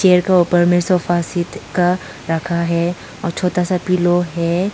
ऊपर में sofa seat का रखा है और छोटा सा पीलो है।